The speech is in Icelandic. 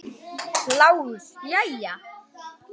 LÁRUS: Jæja!